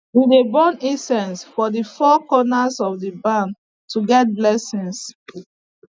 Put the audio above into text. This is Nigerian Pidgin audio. we dey burn incense for the four corners of the barn to get blessings